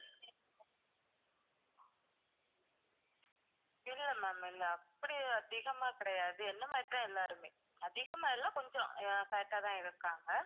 இல்ல ma'am இல்ல அப்படி எல்லாம் அதிகமா கிடையாது. என்னை மாதிரி தான் எல்லாருமே. அதிகமா இல்ல கொஞ்சம் fat ஆ தான் இருக்காங்க.